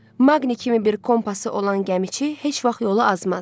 Maqnit kimi bir kompası olan gəmiçi heç vaxt yolu azmaz.